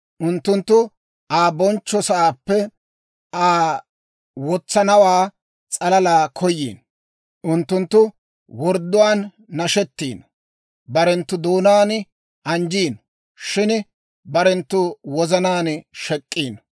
Unttunttu Aa bonchcho sa'aappe Aa wotsanawaa s'alala koyiino; unttunttu wordduwaan nashettiino. Barenttu doonaan anjjiino; shin barenttu wozanaan shek'iino.